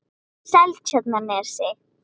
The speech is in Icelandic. Seltjarnarnesi